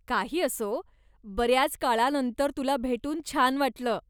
काही असो, बऱ्याच काळानंतर तुला भेटून छान वाटलं.